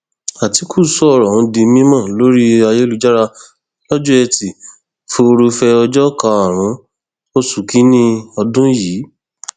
àtìkù sọrọ ọhún di mímọ lórí ayélujára lọjọ etí furuufee ọjọ karùnún oṣù kínínní ọdún yìí